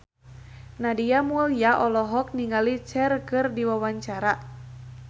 Nadia Mulya olohok ningali Cher keur diwawancara